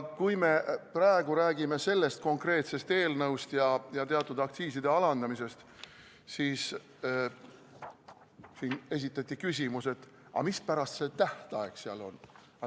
Kui me praegu räägime sellest konkreetsest eelnõust ja teatud aktsiiside langetamisest, siis siin esitati küsimus, mispärast see tähtaeg seal on.